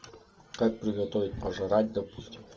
как приготовить пожрать допустим